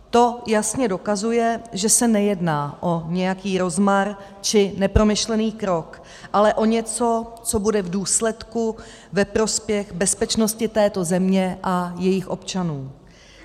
To jasně dokazuje, že se nejedná o nějaký rozmar či nepromyšlený krok, ale o něco, co bude v důsledku ve prospěch bezpečnosti této země a jejích občanů.